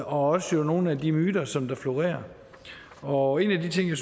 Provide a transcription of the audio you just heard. også nogle af de myter som florerer og en af de ting